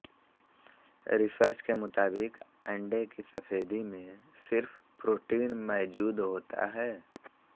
research के मुताबिक अंडे की सफेदी में सिर्फ प्रोटीन मैजूद होता है